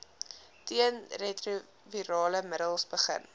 teenretrovirale middels begin